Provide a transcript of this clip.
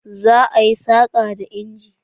Za a yi saƙa da inji.